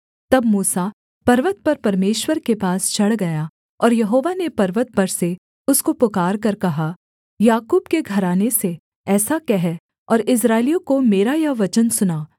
तब मूसा पर्वत पर परमेश्वर के पास चढ़ गया और यहोवा ने पर्वत पर से उसको पुकारकर कहा याकूब के घराने से ऐसा कह और इस्राएलियों को मेरा यह वचन सुना